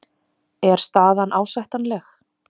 Er staðan ásættanleg?